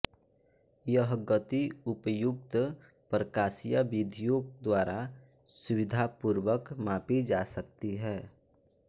यह गति उपयुक्त प्रकाशीय विधियों द्वारा सुविधापूर्वक मापी जा सकती है